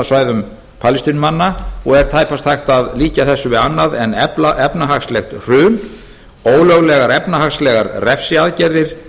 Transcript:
heimastjórnarsvæðum palestínumanna og er tæpast hægt að líkja þessu við annað en efnahagslegt hrun ólöglegar efnahagslegar refsiaðgerðir